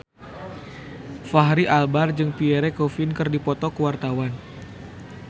Fachri Albar jeung Pierre Coffin keur dipoto ku wartawan